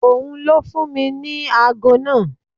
Ò n ló fún mi ní ago náà.